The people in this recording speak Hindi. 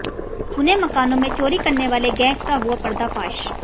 सुने मकानों में चोरी करने वाले गैग का हुआ पर्दाफाश